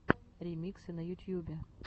ремиксы на ютьюбе